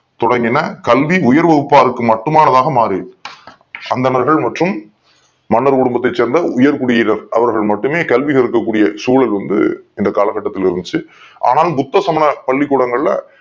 தொடங்க்கின கல்வி உயர் வகுபாருக்கு மட்டுமானதா மாறுது அந்தனர்கள் மற்றும் மன்னர் குடும்பத்தை சேர்ந்த உயர் குடிடயினர் அவர்கள் மட்டுமே கல்வி கல்வி கற்க கூடிய சூலள் வந்து இந்த கால கட்டத்துல இருந்துச்சு ஆனால் புத்த சமுதாய பள்ளி கூடங்கள்ல